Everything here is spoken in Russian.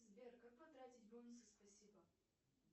сбер как потратить бонусы спасибо